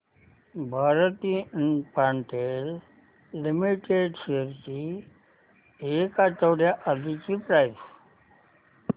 Bharti Infratel limited shares ची एक आठवड्या आधीची प्राइस